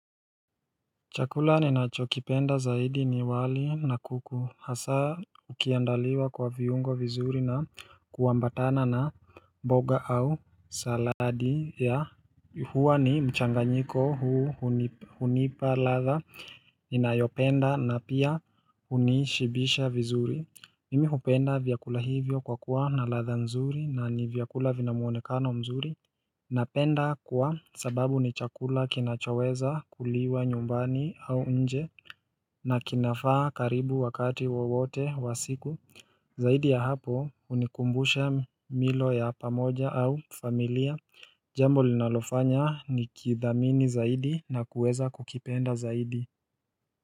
Chakula ninachokipenda zaidi ni wali na kuku hasa ukiandaliwa kwa viungo vizuri na kuambatana na mboga au saladi ya huwa ni mchanganyiko huu hunipa ladha inayopenda na pia hunishibisha vizuri Mimi hupenda vyakula hivyo kwa kuwa na ladha nzuri na nivyakula vina muonekano mzuri Napenda kwa sababu ni chakula kinachoweza kuliwa nyumbani au nje na kinafaa karibu wakati wowote wa siku Zaidi ya hapo unikumbusha milo ya pamoja au familia Jambo linalofanya nikithamini zaidi na kuweza kukipenda zaidi.